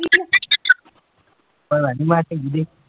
ਪਤਾ ਨੀ